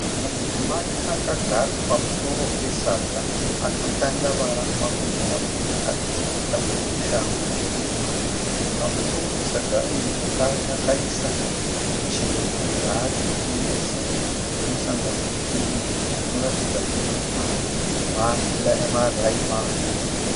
Mudzimai akagara pamusoro pesaga akatandavara makumbo ake akapfeka shangu tema . Pamusoro pesaga iri zvakare akaisa michero yaari kutengesa inosangani inoratidza kuti mamwe male maramani.